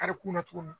Karikun na cogo min na